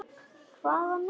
Hvaða myndir?